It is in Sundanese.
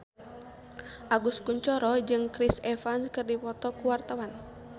Agus Kuncoro jeung Chris Evans keur dipoto ku wartawan